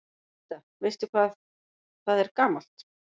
Linda: Veistu hvað það er gamalt?